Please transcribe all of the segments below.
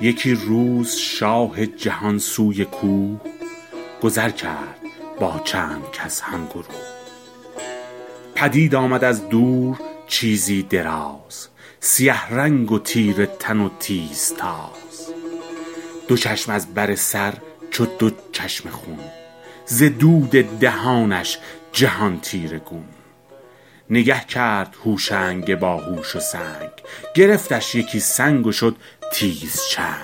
یکی روز شاه جهان سوی کوه گذر کرد با چند کس هم گروه پدید آمد از دور چیزی دراز سیه رنگ و تیره تن و تیز تاز دو چشم از بر سر چو دو چشمه خون ز دود دهانش جهان تیره گون نگه کرد هوشنگ باهوش و سنگ گرفتش یکی سنگ و شد تیز چنگ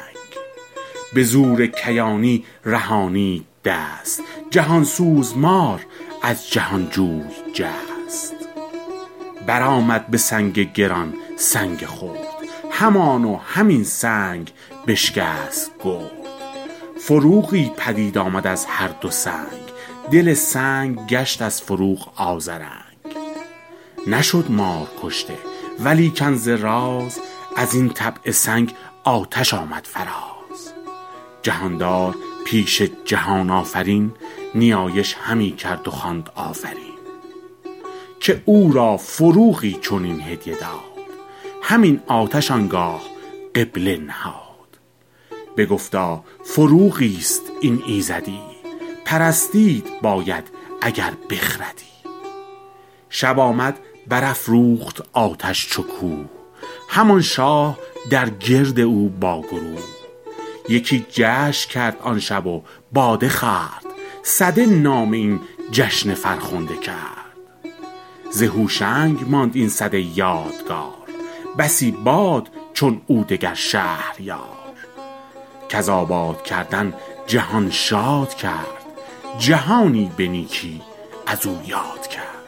به زور کیانی رهانید دست جهان سوز مار از جهان جوی جست بر آمد به سنگ گران سنگ خرد همان و همین سنگ بشکست گرد فروغی پدید آمد از هر دو سنگ دل سنگ گشت از فروغ آذرنگ نشد مار کشته ولیکن ز راز از این طبع سنگ آتش آمد فراز جهاندار پیش جهان آفرین نیایش همی کرد و خواند آفرین که او را فروغی چنین هدیه داد همین آتش آنگاه قبله نهاد بگفتا فروغی است این ایزدی پرستید باید اگر بخردی شب آمد بر افروخت آتش چو کوه همان شاه در گرد او با گروه یکی جشن کرد آن شب و باده خورد سده نام آن جشن فرخنده کرد ز هوشنگ ماند این سده یادگار بسی باد چون او دگر شهریار کز آباد کردن جهان شاد کرد جهانی به نیکی از او یاد کرد